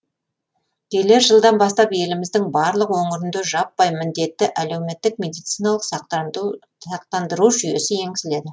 келер жылдан бастап еліміздің барлық өңірінде жаппай міндетті әлеуметтік медициналық сақтандыру жүйесі енгізіледі